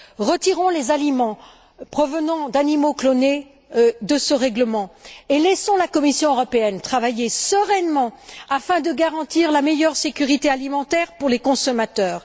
Retirons donc les aliments provenant d'animaux clonés de ce règlement et laissons la Commission européenne travailler sereinement afin de garantir la meilleure sécurité alimentaire pour les consommateurs.